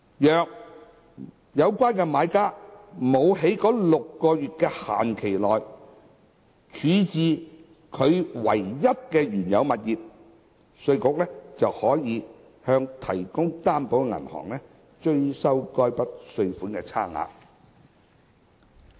若有關買家沒有在該6個月的期限內處置其唯一的原有物業，稅務局可向提供擔保的銀行追收該筆稅款差額。